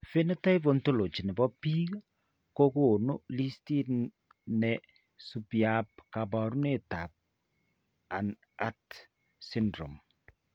Phenotype Ontology ne po biik ko konu listit ne subiap kaabarunetap Hanhart syndrome.